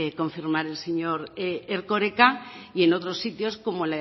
confirmar el señor erkoreka y en otros sitios como